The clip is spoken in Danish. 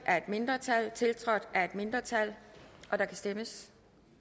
af et mindretal tiltrådt af et mindretal og der kan stemmes